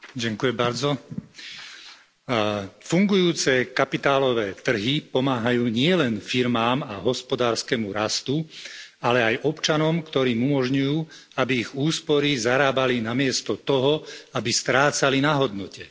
Pani predsedajúca, fungujúce kapitálové trhy pomáhajú nielen firmám a hospodárskemu rastu, ale aj občanom, ktorým umožňujú, aby ich úspory zarábali namiesto toho, aby strácali na hodnote.